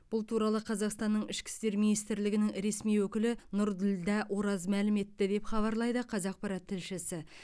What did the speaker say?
бұл туралы қазақстанның ішкі істер министрлігінің ресми өкілі нұрділдә ораз мәлім етті деп хабарлайды қазақпарат тілшісі